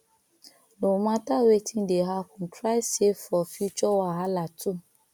no mata wetin dey hapun try safe for future wahala too